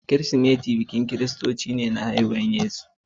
Kirsimati biki ne da kiristoci suke yi na bikin haihuwar Yesu Kiristi.